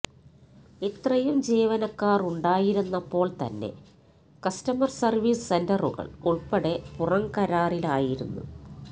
ഇത്രയും ജീവനക്കാർ ഉണ്ടായിരുന്നപ്പോൾത്തന്നെ കസ്റ്റമർ സർവീസ് സെന്ററുകൾ ഉൾപ്പെടെ പുറംകരാറിലായിരുന്നു